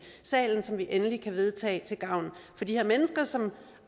salen som vi endelig kan vedtage til gavn for de her mennesker som